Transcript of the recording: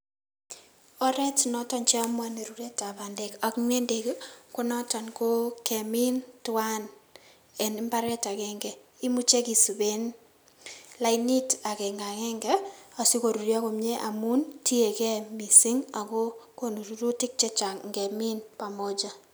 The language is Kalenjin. Oreet noton cheomuoni ruretab bandek ak ng'endek konoton ko kemin twan en mbaret akeng'e, imuche kisiben lainit akeng'akeng'e sikoruryo komnyee amun tiekee mising akoo konu rurutik chechang ng'emin pamoja.